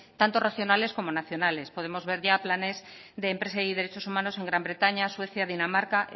tanto regionales como nacionales podemos ver ya planes de empresa y de derechos humanos en gran bretaña suecia dinamarca